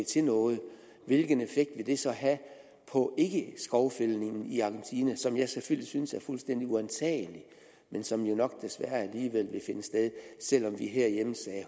til noget hvilken effekt ville det så have på skovfældningen i argentina som jeg selvfølgelig synes er fuldstændig uantagelig men som jo nok desværre alligevel vil finde sted selv om vi herhjemme sagde